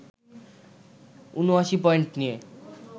৭৯ point নিয়ে